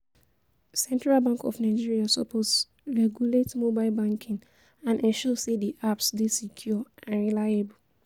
Central Bank of Nigeria suppose regulate mobile banking and ensure say di apps dey secure and reliable.